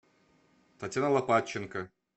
татьяна лопатченко